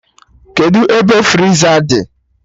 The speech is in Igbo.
Kedụ ebe friza dị?